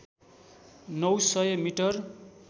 नौ सय मिटर